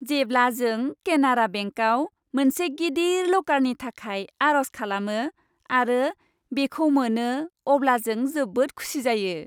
जेब्ला जों केनारा बेंकाव मोनसे गिदिर लकारनि थाखाय आर'ज खालामो आरो बेखौ मोनो, अब्ला जों जोबोद खुसि जायो।